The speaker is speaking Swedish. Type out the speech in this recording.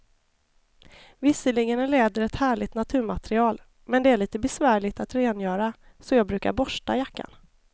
Visserligen är läder ett härligt naturmaterial, men det är lite besvärligt att rengöra, så jag brukar borsta jackan.